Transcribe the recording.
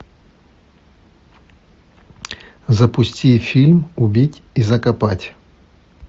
запусти фильм убить и закопать